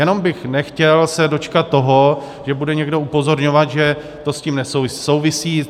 Jenom bych nechtěl se dočkat toho, že bude někdo upozorňovat, že to s tím nesouvisí.